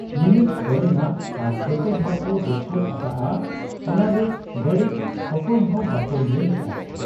Minute ᱚᱞᱮᱱᱟ ᱟᱨ ᱡᱚᱛᱚ ᱦᱚᱲᱠᱚ ᱫᱚᱥᱠᱚᱛ ᱟᱠᱟᱜ ᱟ ᱾ ᱚᱱᱟᱨᱮ ᱵᱟᱹᱲᱤᱡ ᱚᱠᱚᱭᱦᱚᱸ ᱵᱟᱠᱚ ᱧᱮᱞ ᱞᱮᱜ ᱟ ᱾